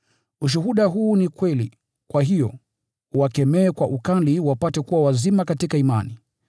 Ushuhuda huu ni kweli. Kwa hiyo, uwakemee kwa ukali wapate kuwa wazima katika imani,